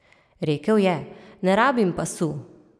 Rekel je: "Ne rabim pasu.